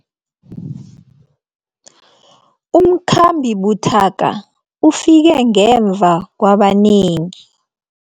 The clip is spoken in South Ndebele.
Umkhambi buthaka ufike ngemva kwabanengi.